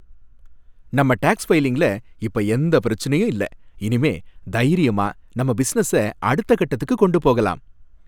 நம்ம டேக்ஸ் ஃபைலிங்ல இப்ப எந்த பிரச்சனையும் இல்ல, இனிமே தைரியமா நம்ம பிசினஸ அடுத்த கட்டத்துக்கு கொண்டு போகலாம்.